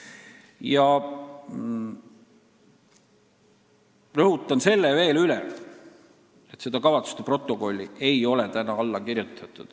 Ma rõhutan veel kord, et seda kavatsuste protokolli ei ole alla kirjutatud.